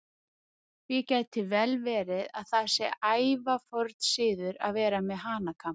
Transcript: Því gæti vel verið að það sé ævaforn siður að vera með hanakamb.